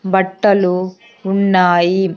బట్టలు ఉన్నాయి.